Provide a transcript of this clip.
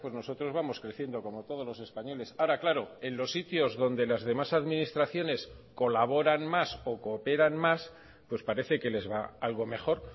nosotros vamos creciendo como todos los españoles ahora claro en los sitios donde las demás administraciones colaboran más o cooperan más pues parece que les va algo mejor